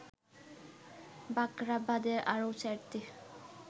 বাখরাবাদে আরো ৪টি